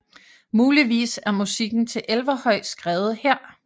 Muligvis er musikken til Elverhøj skrevet her